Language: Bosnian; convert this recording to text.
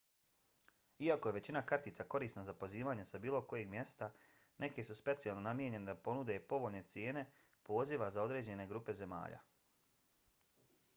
iako je većina kartica korisna za pozivanje sa bilo kojeg mjesta neke su specijalno namijenjene da ponude povoljne cijene poziva za određene grupe zemalja